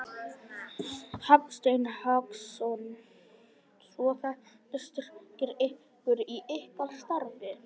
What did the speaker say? Hafsteinn Hauksson: Svo þetta styrkir ykkur í ykkar starfi?